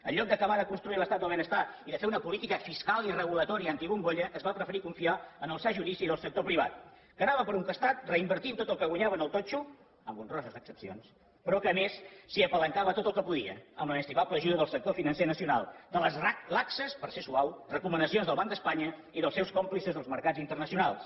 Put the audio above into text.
en lloc d’acabar de construir l’estat del benestar i de fer una política fiscal i reguladora antibombolla es va preferir confiar en el sa judici del sector privat que anava per un costat reinvertint tot el que guanyava amb el totxo amb honroses excepcions però que a més s’hi apalancava tot el que podia amb l’inestimable ajuda del sector financer nacional de les laxes per ser suau recomanacions del banc d’espanya i dels seus còmplices dels mercats internacionals